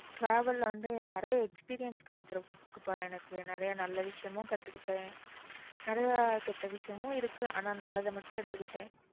travel ல வந்து நிறைய experience கிடைச்சிரும் அப்போ எனக்கு நிறைய நல்ல விஷயமும் கத்துக்கிட்டேன் நிறைய கெட்ட விஷயமும் இருக்கு ஆனா நல்லத மட்டும் எடுத்துக்கிட்டேன்